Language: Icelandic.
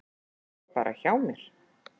Ég fór bara hjá mér.